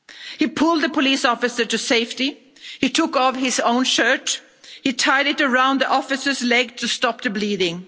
He pulled the police officer to safety, he took off his own shirt, he tied it around the officer's leg to stop the bleeding.